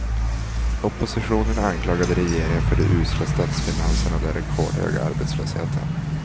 Oppositionen anklagade regeringen för de usla statsfinanserna och den rekordhöga arbetslösheten.